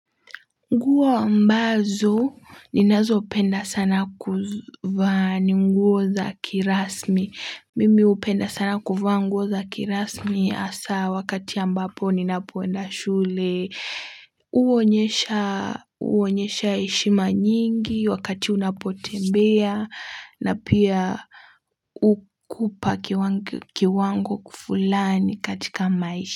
Nguo ambazo ninazopenda sana kuvaa ni nguo za kirasmi mimi hupenda sana kuvaa nguo za kirasmi hasa wakati ambapo ninapoenda shule huonyesha huonyesha heshima nyingi wakati unapotembea na pia hukupa kiwango kiwango fulani katika maisha.